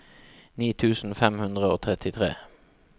ni tusen fem hundre og trettitre